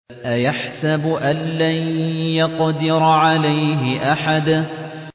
أَيَحْسَبُ أَن لَّن يَقْدِرَ عَلَيْهِ أَحَدٌ